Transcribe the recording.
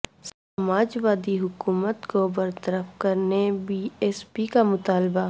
سماج وادی حکومت کو برطرف کرنے بی ایس پی کا مطالبہ